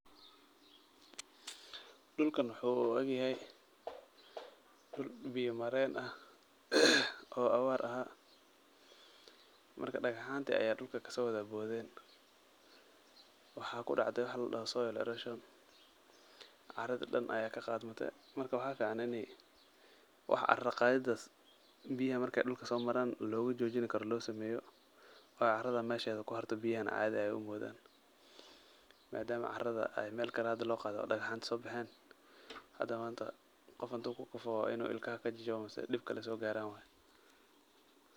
Dhulkan waxuu u egyahay dhul biyo mareen ah oo abaar ahaa. Marka dhagahanta ayaa dhulka kasoo wadaboodeen, waxaa kudhacday waxaa ladhaho soil errosion. Arada dhan ayaa kaqaadmitay. Marka waxaa ficaan inay waxa ara qaadidaas biyaha marka dhulka soo maraan loogu joojini karo loo sameeyo oo aradan meesheeda ku xerto biyahana aadi ay umoodaan, maadaam arada ay meel kale hada loo qaadey oo dhagaxanta soo baheen. Hada maanta qof haduu kukufo waa inuu ilkaha kajajabo mise dhib kale soo gaaraan waay.